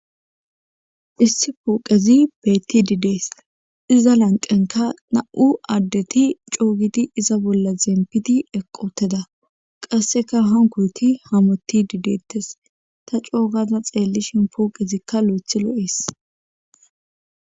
Issi pooqezi beetti didees iza lanqenka na'u addeti coogidi iza bolla zempiti eqoteda qasseka han kurti hamotti dideettes ta coogaza xeellishin pooqezikka loothi lo'ees.